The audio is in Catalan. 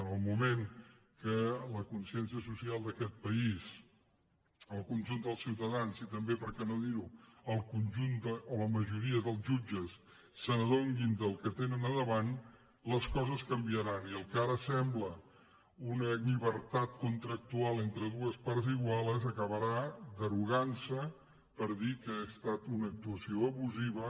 en el moment que la consciència social d’aquest país el conjunt dels ciuta·dans i també per què no dir·ho el conjunt o la ma·joria dels jutges s’adonin del que tenen davant les coses canviaran i el que ara sembla una llibertat con·tractual entre dues parts iguals acabarà derogant·se per dir que ha estat una actuació abusiva